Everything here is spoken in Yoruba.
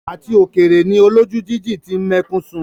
Àti òkèrè ni olójú jíjìn ti ń mẹ́kún sun.